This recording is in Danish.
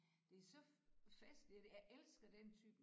Det så festligt og det jeg elsker den type